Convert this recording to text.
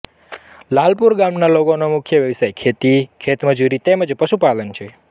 લાલપુર ગામના લોકોનો મુખ્ય વ્યવસાય ખેતી ખેતમજૂરી તેમ જ પશુપાલન છે